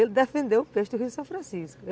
Ele defendeu o peixe do rio São Francisco.